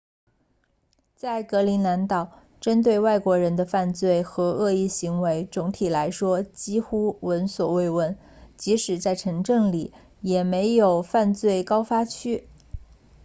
在格陵兰岛针对外国人的犯罪和恶意行为总体来说几乎闻所未闻即使在城镇里也没有犯罪高发区